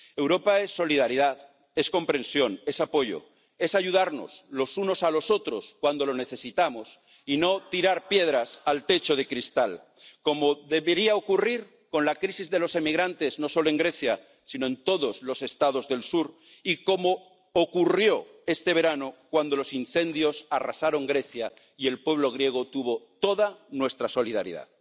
Europa es solidaridad, es comprensión, es apoyo, es ayudarnos los unos a los otros cuando lo necesitamos y no tirar piedras al techo de cristal, como debería ocurrir con la crisis de los emigrantes, no solo en Grecia, sino en todos los Estados del sur, tal como ocurrió este verano cuando los incendios arrasaron Grecia, y el pueblo griego tuvo toda nuestra solidaridad.